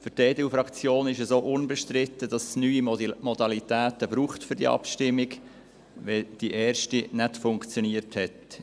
Für die EDU-Fraktion ist es auch unbestritten, dass es für diese Abstimmung neue Modalitäten braucht, weil die erste nicht funktioniert hat.